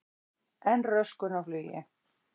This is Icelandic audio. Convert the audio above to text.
Enn röskun á flugi